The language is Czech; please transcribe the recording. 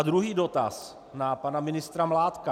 A druhý dotaz na pana ministra Mládka.